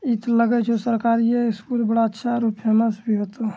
इतो लग हे छो सरकारीये स्कूल बड़ा अच्छा और फेमस भी होतो ।